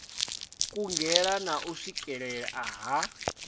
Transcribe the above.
kungela na u swikelea ha